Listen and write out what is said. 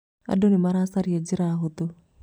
Andũ nĩ maracaria njĩra hũthũ.